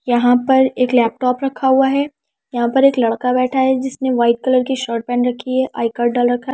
यहां पर एक लैपटॉप रखा हुआ है यहां पर एक लड़का बैठा है जिसने वाइट कलर की शर्ट पैन रखी है आई कार्ड डाल रखा --